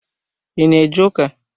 I ná eje ụka?